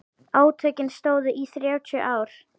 Átökin stóðu í þrjátíu ár.